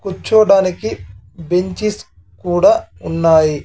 కూర్చోవడానికి బెంచిస్ కూడా ఉన్నాయి.